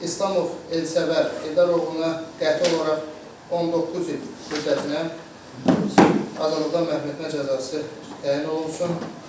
İslamov Elsəvər Eldar oğluna qəti olaraq 19 il müddətinə azadlıqdan məhrum etmə cəzası təyin olunsun.